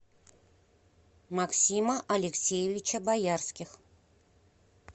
максима алексеевича боярских